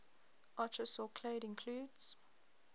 archosaur clade includes